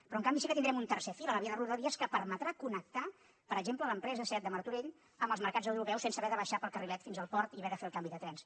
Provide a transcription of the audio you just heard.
però en canvi sí que tindrem un tercer fil a la via de rodalies que permetrà connectar per exemple l’empresa seat de martorell amb els mercats europeus sense haver de baixar pel carrilet fins al port i haver de fer el canvi de trens